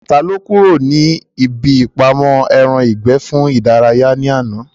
Ta ló kúrò níbi ìpamọ́ ẹran ìgbẹ́ fún ìdárayá ní àná?